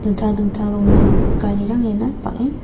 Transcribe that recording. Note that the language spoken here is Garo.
dingtang dingtang rongni garirang iano bang·en--